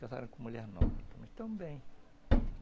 casaram com mulher nova também, também...